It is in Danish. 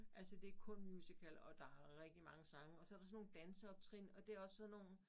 Altså det kun musical og der rigtig mange sange og så der sådan nogle danseoptrin og det også sådan nogen